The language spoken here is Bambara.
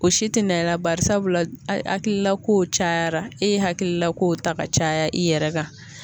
O si tɛ na i la bari sabula hakilila kow cayara e ye hakilila kow ta ka caya i yɛrɛ kan.